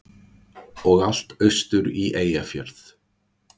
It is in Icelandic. Og allt austur í Eyjafjörð.